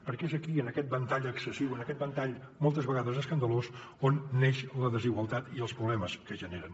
perquè és aquí en aquest ventall excessiu en aquest ventall moltes vegades escandalós on neix la desigualtat i els problemes que generen